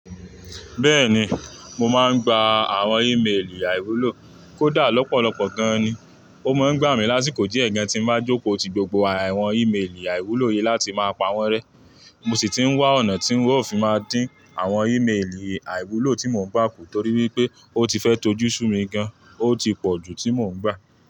Bẹ́ẹ̀ni, mo máa ń gba àwọn ímélì àìwúlò. Kódà lọ́pọ̀lọpọ̀ gan-an ni, ó máa ń gbà mí lásìkò díẹ̀ gan tí mo bá jókòó ti gbogbo àwọn ímélì àìwúlò yìí láti máa pa wọ́n rẹ́. Mo sì ti ń wá ọ̀nà tí ń ó fi máa dín àwọn ímélì àìwúlò tí mo ń gbà kù torí wípé ó ti fẹ́ tó jú sù mí gan-an, ó ti pọ̀ ju tí mò ń gbà.